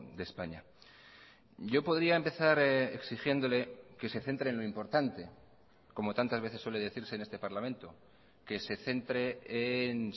de españa yo podría empezar exigiéndole que se centre en lo importante como tantas veces suele decirse en este parlamento que se centre en